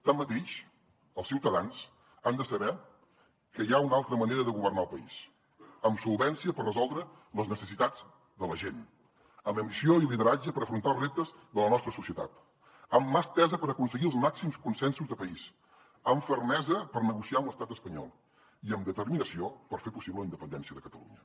tanmateix els ciutadans han de saber que hi ha una altra manera de governar el país amb solvència per resoldre les necessitats de la gent amb ambició i lideratge per afrontar els reptes de la nostra societat amb mà estesa per aconseguir els màxims consensos de país amb fermesa per negociar amb l’estat espanyol i amb determinació per fer possible la independència de catalunya